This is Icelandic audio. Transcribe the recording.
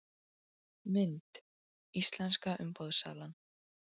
Mynd: Íslenska umboðssalan